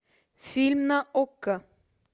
фильм на окко